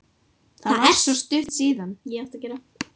Það er svo stutt síðan.